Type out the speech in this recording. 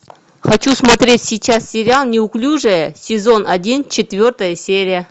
хочу смотреть сейчас сериал неуклюжая сезон один четвертая серия